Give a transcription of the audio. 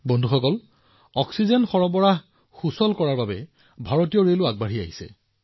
বন্ধুসকল প্ৰত্যাহ্বানৰ এই সময়তেই ভাৰতীয় ৰেলৱেও অক্সিজেন পৰিবহণ সহজ কৰিবলৈ আগবাঢ়ি আহিছে